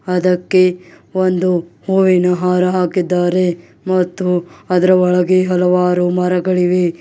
ಅದಕ್ಕೆ ಒಂದು ಹೂವಿನ ಹಾರ ಹಾಕಿದ್ದಾರೆ ಮತ್ತು ಅದ್ರ ಒಳಗೆ ಹಲವಾರು ಮರಗಳಿವೆ.